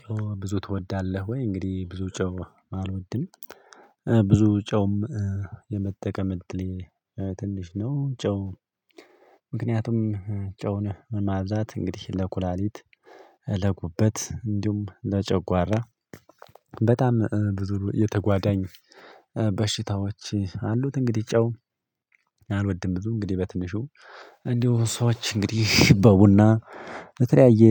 ጨው ብዙ ትወዳለህ ወይ እንግዲህ ብዙ ጨው አልወድም ብዙ ጨውም የመጠቀም ዕድሌ ትንሽ ነው ጨው ምክንያቱም ጨውን ማብዛት እንግዲህ ለኩላሊት ለጉበት እንዲሁም ለጨጓራ በጣም ብዙ የተጓደኝ በሽታዎች አሉት እንግዲህ ጫው አልወድም ብዙ እንግዲህ በትንሹ እንዲሁ ሰዎች እንግዲህ በቡና በተለያየ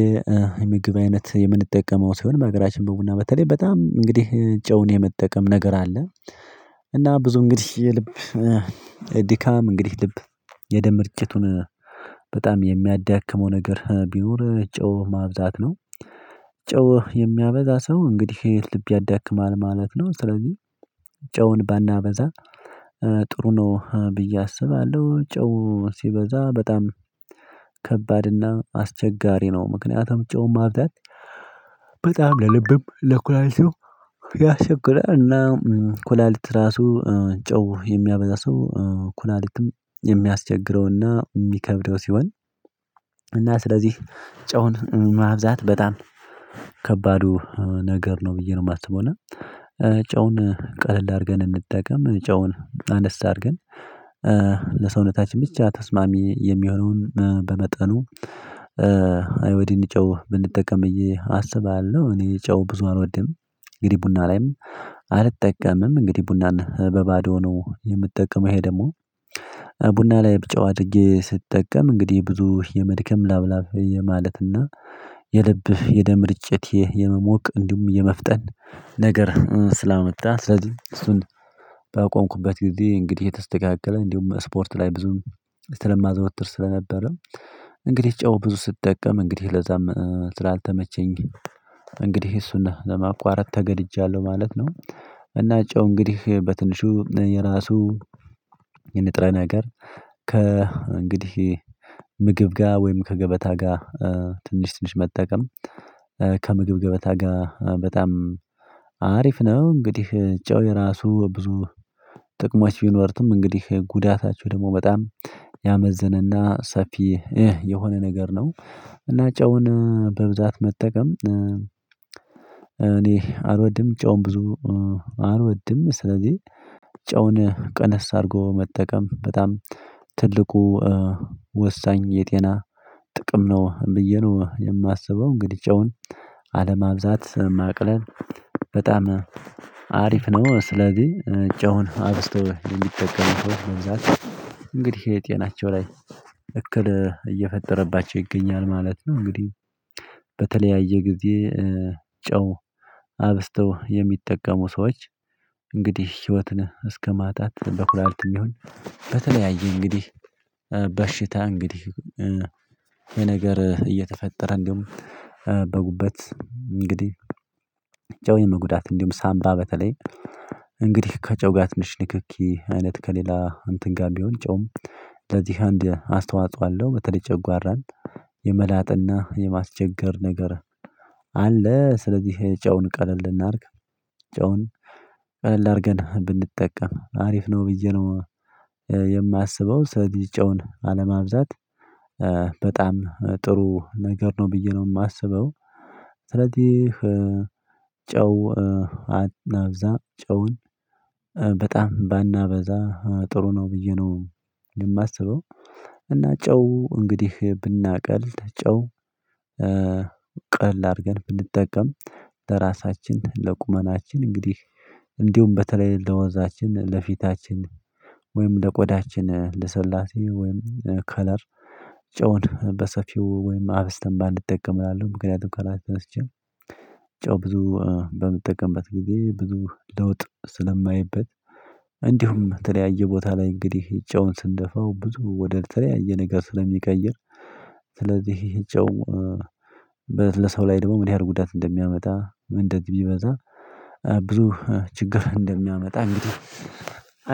የምግብ አይነት የምንጠቀመው ሲሆን በሀገራችን በቡና በተለይ በጣም እንግዲህ ጨውን የመጠቀም ነገር አለ እና ብዙ እንግዲህ የልብ ድካም እንግዲህ ልብ የደም መርጨቱን በጣም የሚያዳክመው ነገር ቢኖር ጨው ማብዛት ነው ጨው የሚያበዛ ሰው እንግዲህ ልብ ያዳክማል ማለት ነው ስለዚህ ጨውን ባናበዛ ጥሩ ነው ብዬ አስባለሁ ጨው ሲበዛ በጣም ከባድና አስቸጋሪ ነው ምክንያቱም ጨውም ማብዛት በጣም ለልብም ለኩላሊትም ያስቸግራል እና ኩላሊት ራሱ ጨው የሚያበዛ ሰው ኩላሊትም የሚያስቸግረውና የሚከብደው ሲሆን እና ስለዚህ ጨውን ማብዛት በጣም ከባዱ ነገር ነው ብዬ ነው የማስበው ጨውን ቀለል አድርገን እንጠቀም ጨውን አነስ አድርገን ለሰውነታችን ብቻ ተስማሚ የሚሆነውን በመጠኑ አዮዲን ጨው ብንጠቀም ብዬ አስባለሁ። እኔ ጨው ብዙ አልወድም። እንግዲህ ቡና ላይም አልጠቀምም። እንግዲህ ቡናን በባዶ ነው የምጠቀመው ይሄ ደግሞ ቡና ላይ ብጨው አድርጌ ስትጠቀም እንግዲህ ብዙ የመድከም ላብ ላብ የማለትና የልብህ የደም ርጭት ይህ የመሞቅ እንዲሁም የመፍጠን ነገር ስላመጣ ስለዚህ እሱን ባቆምኩበት ጊዜ እንግዲህ የተስተካከለ እንዲሁም ስፖርት ላይ ብዙም ስለማዘወትር ስለነበረ እንግዲህ ጨው ብዙ ስጠቀም እንግዲህ ለዛም ስላልተመቸኝ እንግዲህ እሱን ለማቋረጥ ተገድጃለሁ ማለት ነው እና ጨው እንግዲህ በትንሹ የራሱ የንጥረ ነገር ከ እንግዲህ ምግብ ጋር ወይም ከገበታ ጋር ትንሽ ትንሽ መጠቀም ከምግብ ገበታ ጋር በጣም አሪፍ ነው እንግዲህ ጨው የራሱ ብዙ ጥቅሞች ቢኖሩትም እንግዲህ ጉዳታቸው ደግሞ በጣም ያመዘነና ሰፊ እህ የሆነ ነገር ነው እና ጨውን በብዛት መጠቀም እኔ አልወድም ጨውም ብዙ አልወድም ስለዚህ ጨውን ቀነስ አድርጎ መጠቀም በጣም ትልቁ ወሳኝ የጤና ጥቅም ነው ብዬ ነው የማስበው እንግዲህ ጨውን አለማብዛት ማቅለል በጣም አሪፍ ነው። ስለዚህ ጨውን አብዝቶ የሚጠቀሙ ሰዎች በብዛት እንግዲህ የጤናቸው ላይ እክል እየፈጠረባቸው ይገኛል ማለት ነው እንግዲህ በተለያየ ጊዜ ጨው አብዝተው የሚጠቀሙ ሰዎች እንግዲህ ህይወትን እስከ ማጣት በኩላልትም ይሁን በተለያየ እንግዲህ በሽታ እንግዲህ ይህ ነገር እየተፈጠረ እንዲሁም በጉበት እንግዲህ ጨው የመጉዳት እንዲሁም ሳምባ በተለይ እንግዲህ ከጨው ጋር ትንሽ ንክኪ አይነት ከሌላ እንትን ጋር ቢሆን ጨውም ለዚህ አንድ አስተዋጽኦ አለው በተለይ ጨጓራን የመላጥና የማስቸገር ነገር አለ ስለዚህ ጨውን ቀለል እናርግ! ጨውን ቀለል አድርገን ብንጠቀም አሪፍ ነው ብዬ ነው የማስበው ስለዚህ ጨውን አለማብዛት በጣም ጥሩ ነገር ነው ብዬ ነው የማስበው ስለዚህ ጨው አብዛ ጨውን በጣም ባናበዛ ጥሩ ነው ብዬ ነው የማስበው እና ጨው እንግዲህ ብናቀል ጨው ቀል አድርገን ብንጠቀም ለራሳችን ለቁመናችን እንግዲህ እንዲሁም በተለይ ለወዛችን ለፊታችን ወይም ለቆዳችን ልሰላሴ ወይም ከለር ጨውን በሰፊው ወይም አብዝተን ባንጠቀም እላለሁ ምክንያቱም ከራስ ተነስቼ ጨው ብዙ በምጠቀምበት ጊዜ ብዙ ለውጥ ስለማይበት እንዲሁም የተለያየ ቦታ ላይ እንግዲህ ጨውን ስንደፋው ብዙ ወደ ተለያየ ነገር ስለሚቀይር ስለዚህ ይሄ ጨው በ ለሰው ላይ ደግሞ ምን ያህል ጉዳት እንደሚያመጣ እንደዚህ ቢበዛ ብዙ ችግር እንደሚያመጣ እንግዲህ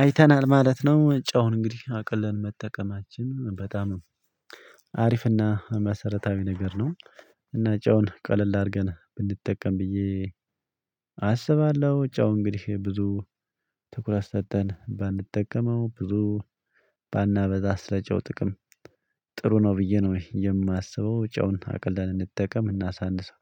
አይተናል ማለት ነው ጨውን እንግዲህ አቅለን መጠቀማችን በጣም አሪፍና መሰረታዊ ነገር ነው እና ጨውን ቀለል አድርገን ብንጠቀም ብዬ አስባለሁ ጫው እንግዲህ ብዙ ትኩረት ሰጥተን ባንጠቀመው ብዙ ባናበዛ ስለጨው ጥቅም ጥሩ ነው ብዬ ነው የማስበው ጨውን አቅለን እንጠቀም እናሳንሰው